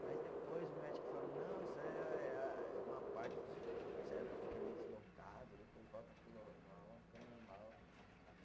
Mas depois o médico falou, não, isso aí é a, é a, é uma parte do cérebro que fica meio deslocado, depois volta para o normal, fica normal.